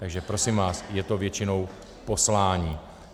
Takže prosím vás, je to většinou poslání.